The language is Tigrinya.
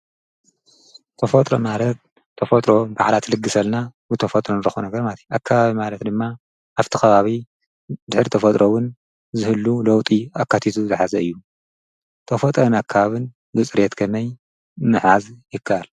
ተፎጥሮ ማረት ተፎጥሮ ባዕላ ትልግሰልና ብተፎጥረንረኾ ነገር ማቲ ኣካባብ ማረት ድማ ኣብቲ ኸባብ ድኅድ ተፈጥሮውን ዝህሉ ለውጢ ኣካቲዙ ዝሓዘ እዩ ተፎጠን ኣካብን ብጽሬየት ከመይ ምሓዝ ይካል።